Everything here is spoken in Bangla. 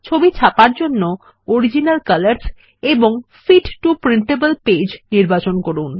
ছবি ছাপার জন্য অরিজিনাল কালারস এবং ফিট টো প্রিন্টেবল পেজ নির্বাচন করুন